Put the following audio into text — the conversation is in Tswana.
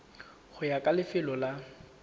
go ya ka lefelo la